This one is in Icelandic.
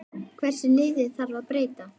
Hversu litlu þarf að breyta?